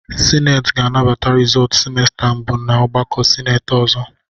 Sineti ga-anabata rizọọtu simesta mbụ n'ọgbakọ sineti ọzọ.